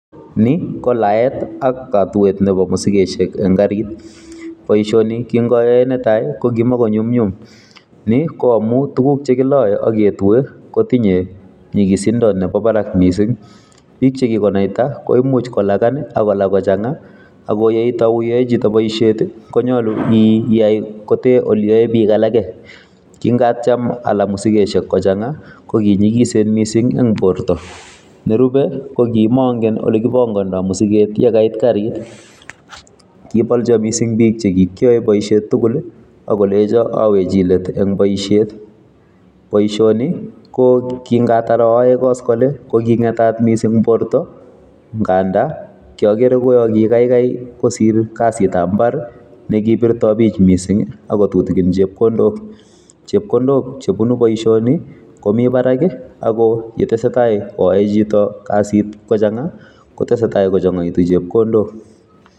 Ni ko laet ak katuet nebo musikesiek en garit. Boisoni ki ngayae netai, ko kimukonyumnyum. Ni ko amuu tuguk che kilae ak ketue, kotinye nyigisindo nebo barak missing. Biik che kikonaita, koimuch kolakan akolaa kochang'a, akoyeitau iyae chito boisiet, konyolu iyai kotee ole ae biik alage. King'atiem alaa musigesiek kochang'a, kokinyigisen missing eng' borto. Nerube, ko kimangen ole kipangondoi musiget yekait garit. Kibolchoo missing biik chekikyae boisiet tugul, akolejo aweji let eng' boisiet. Boisoni, ko kingatar ayae koskolin, ko ki ng'etat missing borto, ngandaa kiagere kouyoo kikaikai kosir kasitab mbar ne kipirtoi bich missing, akotutikin chepkondok. Chepkondok che bunu boisoni komii barak, ako yetesetai koae chito kasit kochanga, kotesetai kochangaitu chepkondok